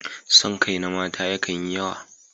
Son kai na mata yakan yi yawa